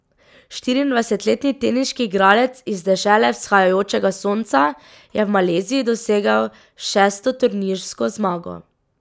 Štiriindvajsetletni teniški igralec iz dežele vzhajajočega sonca je v Maleziji dosegel šesto turnirsko zmago.